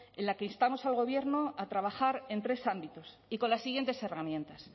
en la que instamos al gobierno a trabajar en tres ámbitos y con las siguientes herramientas